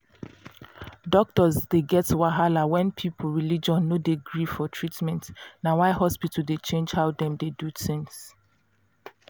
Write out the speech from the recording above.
doctor dey get wahala when person religion no de gree for treatment na why hospital dey change how dem dey do things